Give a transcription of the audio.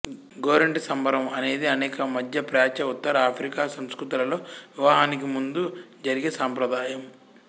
గోరింట సంబరం అనేది అనేక మధ్యప్రాచ్య ఉత్తర ఆఫ్రికా సంస్కృతులలో వివాహానికి ముందు జరిగే సంప్రదాయం